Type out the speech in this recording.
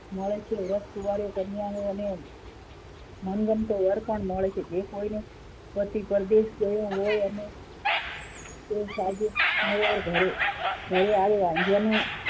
મળે છે જે વ્રત કુવારી કન્યાઓ અને મનગમતો વર પણ મળે છે જે કોઈને પતિ પરદેશ ગયો હોય અને ઘરે આવ્યાં